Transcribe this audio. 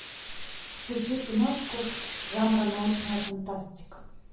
включи киношку жанра научная фантастика